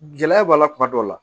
Gɛlɛya b'a la kuma dɔw la